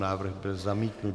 Návrh byl zamítnut.